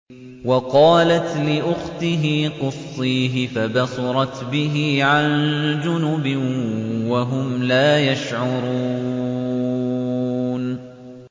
وَقَالَتْ لِأُخْتِهِ قُصِّيهِ ۖ فَبَصُرَتْ بِهِ عَن جُنُبٍ وَهُمْ لَا يَشْعُرُونَ